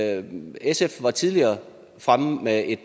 andet sf var tidligere fremme med et